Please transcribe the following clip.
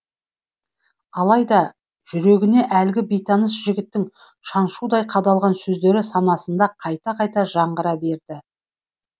алайда жүрегіне әлгі бейтаныс жігіттің шаншудай қадалған сөздері санасында қайта қайта жаңғыра берді